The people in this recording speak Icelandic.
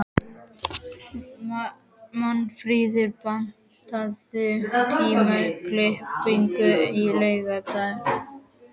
Magnfríður, pantaðu tíma í klippingu á laugardaginn.